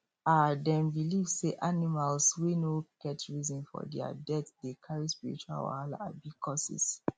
um dem believe say animals wey no get reason for their death decarry spiritual wahala abi curses